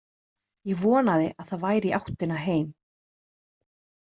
Ég vonaði að það væri í áttina heim.